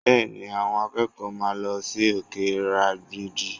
Bẹ́ẹ̀ni, àwọn akẹ́kọ̀ọ́ máa lọ sí òkè ìrágbìjí